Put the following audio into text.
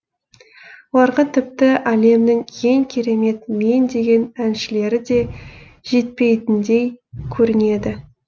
оларға тіпті әлемнің ең керемет мен деген әншілері де жетпейтіндей көрінеді